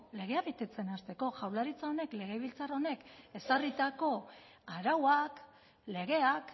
legea betetzen hasteko jaurlaritza honek legebiltzar honek ezarritako arauak legeak